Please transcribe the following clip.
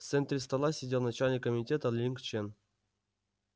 в центре стола сидел начальник комитета линг чен